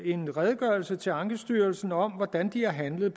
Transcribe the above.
en redegørelse til ankestyrelsen om hvordan de har handlet